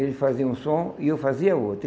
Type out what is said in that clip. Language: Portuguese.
Ele fazia um som e eu fazia outro.